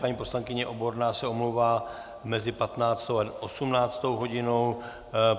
Paní poslankyně Oborná se omlouvá mezi 15. a 18. hodinou.